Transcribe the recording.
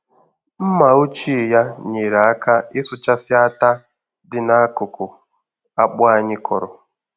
Mmà ochie ya nyeere aka ịsụchasị átá dị n'akụkụ akpụ anyị kọrọ.